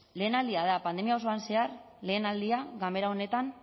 lehenaldia da pandemia osoan zehar lehen aldia ganbera honetan